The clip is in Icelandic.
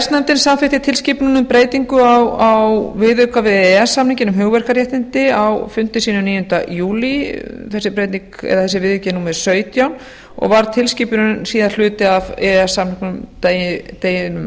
samþykkti tilskipun um breytingu á viðauka við e e s samninginn um hugverkaréttindi á fundi sínum níunda júlí þessi viðauki er númer sautján og var tilskipunin síðar hluti af e e s